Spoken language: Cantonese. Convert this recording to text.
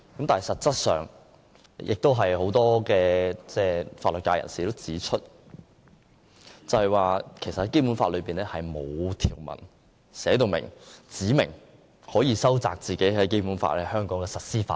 但是實質上，有很多法律界人士曾經指出，《基本法》內並無條文指明可收窄《基本法》在香港的實施範圍。